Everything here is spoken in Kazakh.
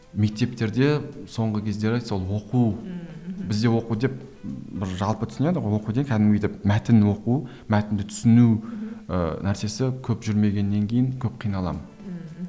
мектептерде соңғы кездері сол оқу ммм мхм бізде оқу деп ы бір жалпы түсінеді ғой оқу деп кәдімгідей мәтін оқу мәтінді түсіну ыыы нәрсесі көп жүрмегеннен кейін көп қиналамын ммм